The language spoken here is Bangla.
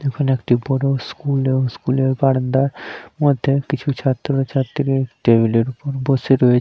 এখানে একটি বোরো স্কুল এবং স্কুল -এর বারান্দা মধ্যে ও কিছু ছাত্র ছাত্রী টেবিল -এ র উপর বসে রয়ে--